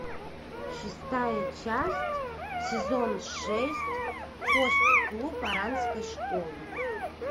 шестая часть сезон шесть хост клуб оранской школы